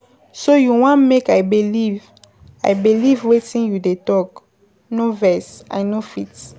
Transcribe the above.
So you wan make I believe, I believe wetin you dey talk. No vex, I no fit.